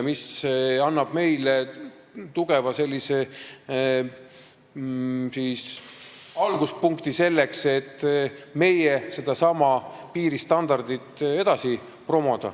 See annab meile tugeva alguspunkti selleks, et meie sedasama piiristandardit edasi promoda.